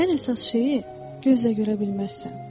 Ən əsas şeyi gözlə görə bilməzsən.